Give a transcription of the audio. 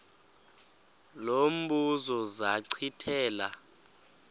lo mbuzo zachithela